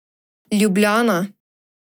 Ljubljana.